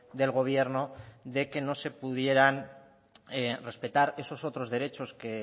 del gobierno de que no se pudieran respetar esos otros derechos que